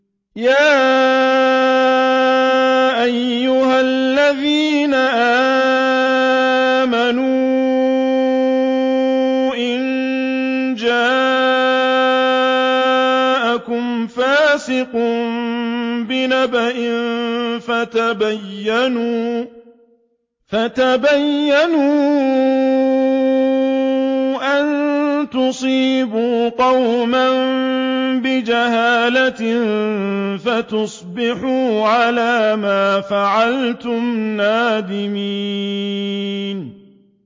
يَا أَيُّهَا الَّذِينَ آمَنُوا إِن جَاءَكُمْ فَاسِقٌ بِنَبَإٍ فَتَبَيَّنُوا أَن تُصِيبُوا قَوْمًا بِجَهَالَةٍ فَتُصْبِحُوا عَلَىٰ مَا فَعَلْتُمْ نَادِمِينَ